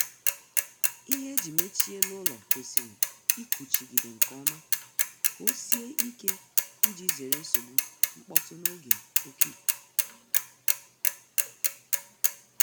Ihe e ji mechie elu ụlọ kwesịrị ịkụchigide nkeọma ka ọ sie ike ịji zere nsogbu mkpọtụ n'oge oké ikuku